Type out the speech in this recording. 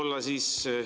Jah.